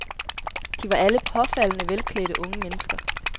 De var alle påfaldende velklædte unge mennesker.